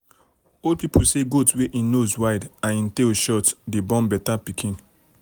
old people say goat wey en nose wide and en tail short dey born better pikin.